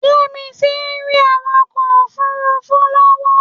Yẹ́misí ń rí awakọ̀ òfuurufú lọ́wọ́